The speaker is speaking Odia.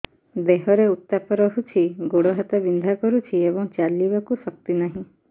ଦେହରେ ଉତାପ ରହୁଛି ଗୋଡ଼ ହାତ ବିନ୍ଧା କରୁଛି ଏବଂ ଚାଲିବାକୁ ଶକ୍ତି ନାହିଁ